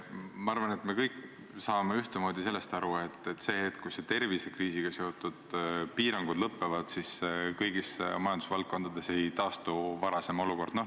Ma arvan, et me kõik saame ühtemoodi aru, et sel hetkel, kui tervisekriisiga seotud piirangud lõpevad, ei taastu kõigis majandusvaldkondades varasem olukord.